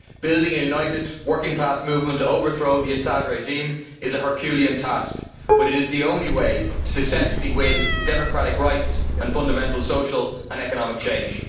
Building a united working class movement to overthrow the Assad regime is a Herculean task, but it is the only way to successfully win democratic rights and fundamental social and economic change.